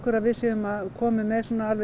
að við séum komin með